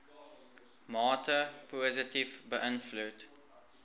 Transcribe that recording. mate positief beïnvloed